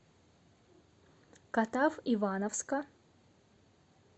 катав ивановска